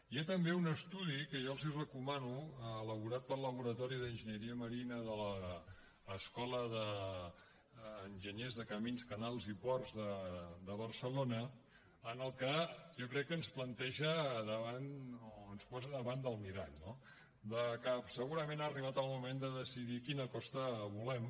hi ha també un estudi que jo els hi recomano elaborat pel laboratori d’enginyeria marina de l’escola d’enginyers de camins canals i ports de barcelona en el que jo crec que ens planteja o ens posa davant del mirall no que segurament ha arribat el moment de decidir quina costa volem